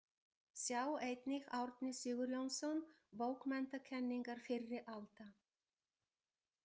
Sjá einnig Árni Sigurjónsson, Bókmenntakenningar fyrri alda.